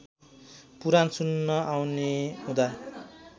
पुराण सुन्न आउने हुँदा